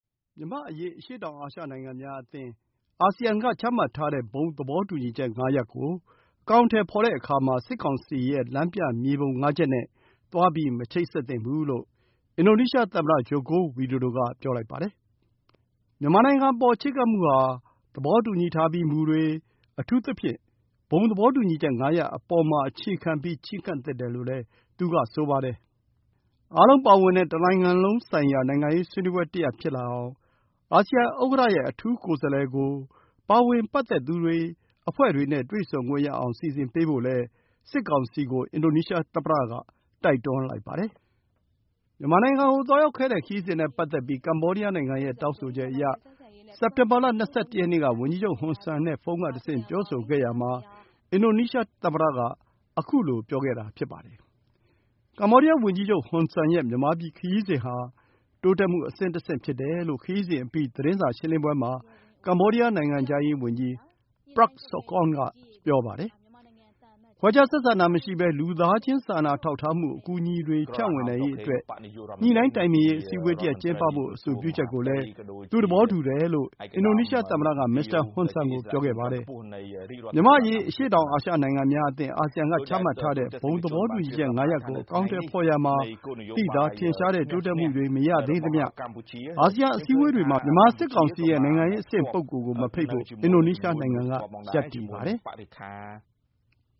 မြန်မာ့အရေး အရှေ့တောင်အာရှ နိုင်ငံများအသင်း (အာဆီယံ) က ချမှတ်ထားတဲ့ ဘုံသဘောတူညီချက် ၅ ရပ်ကို အကောင်အထည်ဖော်ရာမှာ စစ်ကောင်စီရဲ့ လမ်းပြမြေပုံ ၅ ချက်နဲ့ သွားမချိတ်ဆက်သင့်ဘူးလို့ အင်ဒိုနီးရှားသမ္မတ Joko Widodo က ပြောလိုက်ပါတယ်။ မြန်မာနိုင်ငံအပေါ် ချဉ်းကပ်မှုဟာ သဘောတူညီထားပြီး မူတွေ၊ အထူးသဖြင့် ဘုံသဘောတူညီချက် ၅ ရပ်အပေါ် အခြေခံ ချဉ်းကပ်သင့်တယ်လို့လည်း သူက ဆိုပါတယ်။ အားလုံးပါဝင်တဲ့ တနိုင်ငံလုံးဆိုင်ရာ နိုင်ငံရေးဆွေးနွေးပွဲတရပ် ဖြစ်လာအောင် အာဆီယံဥက္ကဋ္ဌရဲ့ အထူးကိုယ်စားလှယ်ကို ပါဝင်ပတ်သက်သူတွေ၊ အဖွဲ့တွေနဲ့ တွေ့ဆုံခွင့်ရအောင် စီစဉ်ပေးဖို့လည်း စစ်ကောင်စီကို အင်ဒိုနီးရှားသမ္မတက တိုက်တွန်းလိုက်ပါတယ်။ မြန်မာနိုင်ငံကို သွားရောက်ခဲ့တဲ့ ခရီးစဉ်နဲ့ ပတ်သက်ပြီး ကမ္ဘောဒီးယားနိုင်ငံရဲ့ တောင်းဆိုချက်အရ စက်တင်ဘာလ ၂၁ ရက်နေ့က ဝန်ကြီးချုပ် ဟွန်ဆန်နဲ့ ဖုန်းကတဆင့် ပြောဆိုခဲ့ရာမှာ အင်ဒိုနီးရှားသမ္မတက ခုလိုပြောခဲ့တာ ဖြစ်ပါတယ်။ ကမ္ဘောဒီးယားဝန်ကြီးချုပ် ဟွန်ဆန်ရဲ့ မြန်မာပြည်ခရီးစဉ်ဟာ တိုးတက်မှု အဆင့်တဆင့် ဖြစ်တယ်လို့ ခရီးစဉ်အပြီး သတင်းစာရှင်းလင်းပွဲမှာ ကမ္ဘောဒီးယား နိုင်ငံခြားရေးဝန်ကြီး Prak Sokhonn က ဆိုပါတယ်။ ခွဲခြားဆက်ဆံတာမရှိဘဲ လူသားချင်း စာနာထောက်ထားမှု အကူအညီတွေ ဖြန့်ဝေနိုင်ရေးအတွက် ညှိနှိုင်းတိုင်ပင်ရေး အစည်းအဝေးတရပ် ကျင်းပဖို့ အဆိုပြုချက်ကိုလည်း သူသဘောတူတယ်လို့ အင်ဒိုနီးရှားသမ္မတက မစ္စတာဟွန်ဆန်ကို ပြောခဲ့ပါတယ်။ မြန်မာ့အရေး အရှေ့တောင်အာရှ နိုင်ငံများအသင်း (အာဆီယံ) က ချမှတ်ထားတဲ့ ဘုံသဘောတူညီချက် ၅ ရပ်ကို အကောင်အထည်ဖော်ရာမှာ သိသာထင်ရှားတဲ့ တိုးတက်မှုတွေ မရသေးသမျှ အာဆီယံ အစည်းအဝေးတွေမှာ မြန်မာစစ်ကောင်စီရဲ့ နိုင်ငံရေးအဆင့် ပုဂ္ဂိုလ်ကို မဖိတ်ဖို့ အင်ဒိုနီးရှားနိုင်ငံက ရပ်တည်ပါတယ်။